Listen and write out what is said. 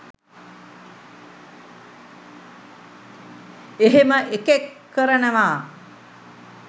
එහෙම එකෙක් කරනවා